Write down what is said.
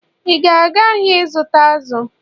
ị ga-aga ahịa ịzụta azụ̀?